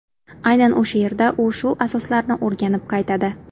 Aynan o‘sha yerda u ushu asoslarini o‘rganib qaytadi.